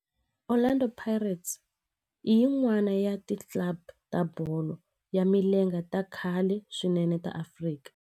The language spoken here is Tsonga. Orlando Pirates i yin'wana ya ti club ta bolo ya milenge ta khale swinene ta Afrika.